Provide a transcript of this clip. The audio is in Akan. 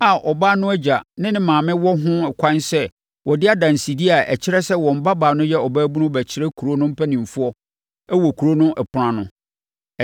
a, ɔbaa no agya ne ne maame wɔ ho ɛkwan sɛ wɔde adansedie a ɛkyerɛ sɛ wɔn babaa no yɛ ɔbaabunu bɛkyerɛ kuro no mpanimfoɔ wɔ kuro no ɛpono ano.